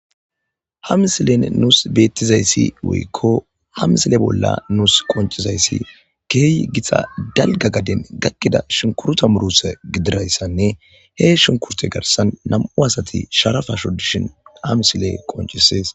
ha misilen nuus bettizayssi woykko ha misile bolla nuus qoncizayssi keehi gita dalga gaden gakkida shinkuruta muruta gidirayssanne he shunkurte garsan nam'u asati sharapa shodishin ha misiley qoncisees